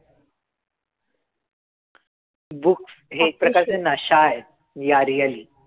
Books हे एक प्रकारचं नशा आहे. Yeah really.